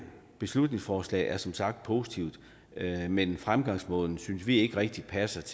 beslutningsforslaget er som sagt positiv men fremgangsmåden synes vi ikke rigtig passer